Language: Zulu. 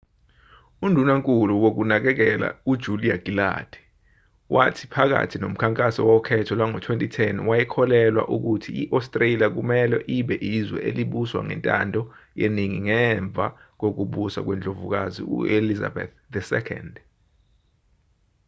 undunankulu wokunakekela ujulia gillard wathi phakathi nomkhankaso wokhetho lwango-2010 wayekholelwa ukuthi i-astralia kumelwe ibe izwe elibuswa ngentando yeningi ngemva kokubusa kwendlovukazi uelizabeth ii